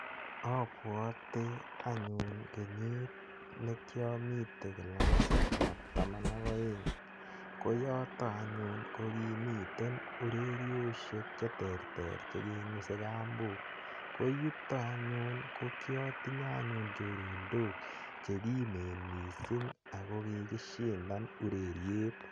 Abuote anyun kenyit nekiamite kilasit ap taman ak oeng ko yoto anyun ko kimiten ureriosiek che terter chekengusei kambok ko yuto anyun ko kiatinye anyun chorondok cheki kimen mising ako kikishindan ureriet.